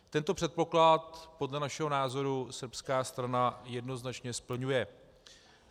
Tento předpoklad podle našeho názoru srbská strana jednoznačně splňuje.